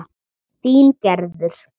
Þín Gerður.